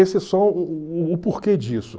Esse é só porquê disso.